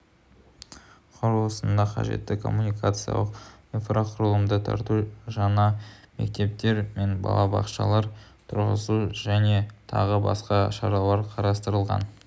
құрылысына қажетті коммуникациялық инфрақұрылымды тарту жаңа мектептер мен балабақшалар тұрғызу және тағы басқа шаралар қарастырылған